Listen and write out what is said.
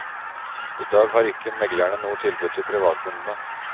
I dag har ikke meglerne noe tilbud til privatkundene.